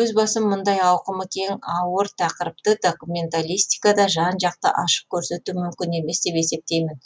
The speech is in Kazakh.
өз басым мұндай ауқымы кең ауыр тақырыпты документалистикада жан жақты ашып көрсету мүмкін емес деп есептеймін